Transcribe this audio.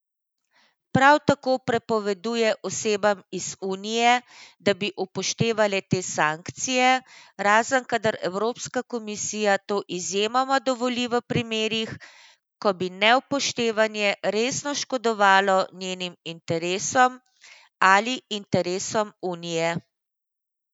Prav tako prepoveduje osebam iz unije, da bi upoštevale te sankcije, razen kadar Evropska komisija to izjemoma dovoli v primerih, ko bi neupoštevanje resno škodovalo njenim interesom ali interesom unije.